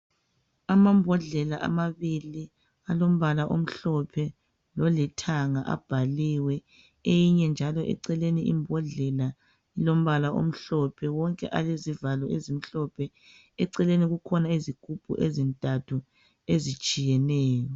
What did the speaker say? amambodlela amabili alombala omhlophe lolithanga abhaliwe eyinye njalo eceleni imbodlela ilombala omhlophe wonke alezivalo ezimhlophe eceleni kukhona izigubhu ezintathu ezitshiyeneyo